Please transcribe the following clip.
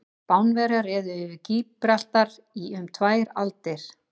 Spánverjar réðu yfir Gíbraltar í um tvær aldir.